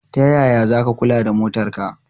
Tayaya zaka kula da motar ka?